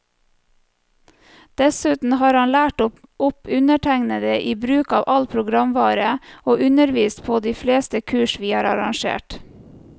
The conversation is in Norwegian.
Dessuten har han lært opp undertegnede i bruk av all programvare, og undervist på de fleste kurs vi har arrangert.